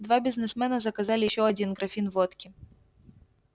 два бизнесмена заказали ещё один графин водки